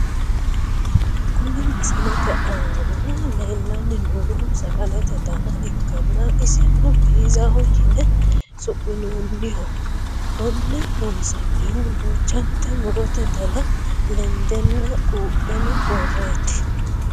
Kuni misilete aana lellanni noohu sagalete dana ikkanna isino piizaho yine su'minoonniho. konne loonsannihu duuchanta murote dana lendanna quupheno worreeti.